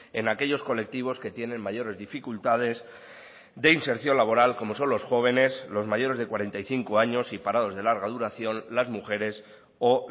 en aquellos colectivos que tienen mayores dificultades de inserción laboral como son los jóvenes los mayores de cuarenta y cinco años y parados de larga duración las mujeres o